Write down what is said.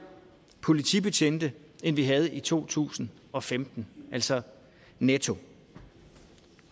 politibetjente end vi havde i to tusind og femten altså netto